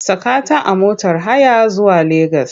Saka ta a motar haya zuwa Legas!